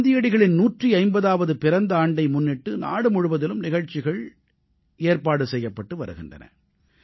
காந்தியடிகளின் 150ஆவது பிறந்த ஆண்டை முன்னிட்டு நாடு முழுவதிலும் நிகழ்ச்சிகள் ஏற்பாடு செய்யபட்டு வருகின்றன